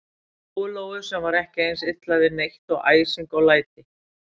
Lóu-Lóu, sem var ekki eins illa við neitt og æsing og læti.